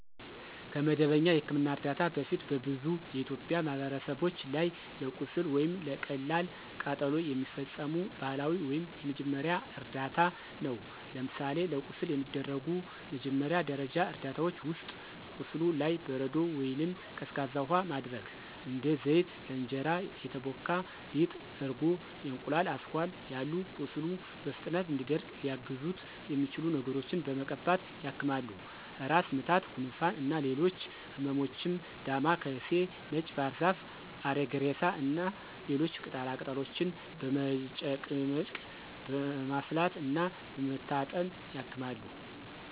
ከመደበኛ የሕክምና እርዳታ በፊት በብዙ የኢትዮጵያ ማህበረሰቦች ላይ ለቁስል ወይም ለቀላል ቃጠሎ የሚፈጸሙ ባህላዊ ወይም የመጀመሪያ እርዳታ ነው። ለምሳሌ ለቁስል የሚደረጉ መጀመሪያ ደረጃ እርዳታዎች ውስጥ፦ ቁስሉ ላይ በረዶ ወይንም ቀዝቃዛ ውሃ ማድረግ፣ እንደ ዘይት፣ ለእንጀራ የተቦካ ሊጥ፣ እርጎ፣ የእንቁላል አስኳል ያሉ ቁስሉ በፍጥነት እንዲደርቅ ሊያግዙት የሚችሉ ነገሮችን በመቀባት ያክማሉ። ራስ ምታት፣ ጉንፋን እና ሌሎች ህመሞችም ዳማ ካሴ፣ ነጭ ባህርዛፍ፣ አሪግሬሳ እና ሌሎች ቅጠላ ቅጠሎችን በመጨቅጨቅ፣ በማፍላት እና በመታጠን ያክማሉ።